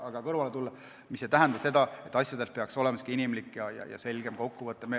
Aga see ei tähenda, et asjadel ei peaks olema inimlik ja selge kokkuvõte.